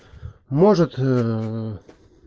может